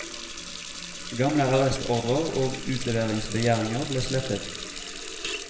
Gamle arrestordrer og utleveringsbegjæringer ble slettet.